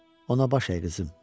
Ona baş əy, qızım.